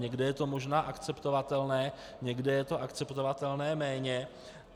Někde je to možná akceptovatelné, někde je to akceptovatelné méně.